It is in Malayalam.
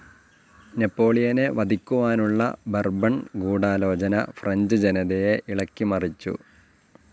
നെപ്പോളിയനെ വധിക്കുവാനുള്ള ബോർബൺ ഗൂഢാലോചന ഫ്രഞ്ച്‌ ജനതയെ ഇളക്കി മറിച്ചു.